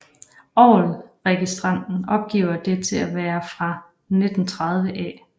Orgelregistranten opgiver det til at være fra 1930 af I